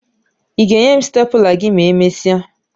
Ị ga-enye m stepụla gị ma emesịa?